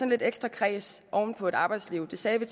lidt ekstra kræs oven på et arbejdsliv det sagde vi